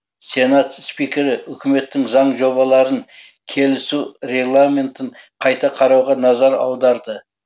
сенат спикері үкіметтің заң жобаларын келісу регламентін қайта қарауға назар аударды